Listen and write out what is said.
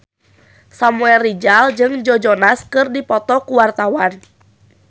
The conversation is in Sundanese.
Samuel Rizal jeung Joe Jonas keur dipoto ku wartawan